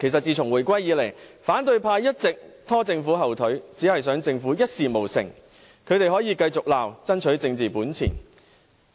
自從回歸以來，反對派一直拖政府後腿，只想政府一事無成，他們可以為爭取政治本錢繼續責罵。